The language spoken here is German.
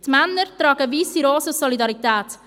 die Männer tragen weisse Rosen aus Solidarität.